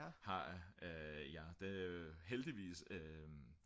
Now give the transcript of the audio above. har jeg det heldigvis